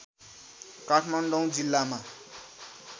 काठमाडौँ जिल्लामा